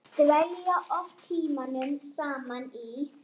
Dvelja oft tímunum saman í